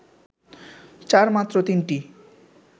চার মাত্র তিনটি